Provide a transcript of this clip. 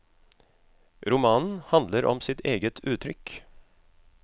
Romanen handler om sitt eget uttrykk.